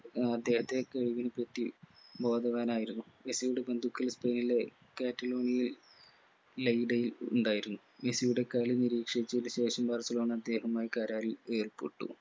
ഏർ അദ്ദേഹത്തെ കഴിവിനെപ്പറ്റി ബോധവാനായിരുന്നു മെസ്സിയുടെ ബന്ധുക്കൾ സ്പെയിൻലെ കാറ്റലോങിലെ ലൈലയിൽ ഉണ്ടായിരുന്നു മെസ്സിയുടെ കളി നിരീക്ഷിച്ചെയ്‌ൽ ശേഷം ബർസലോണ അദ്ദേഹവുമായി കരാറിൽ ഏർപ്പെട്ടു